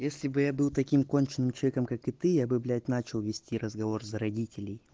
если бы я был таким конченым человеком как и ты я бы блять начал вести разговор за родителей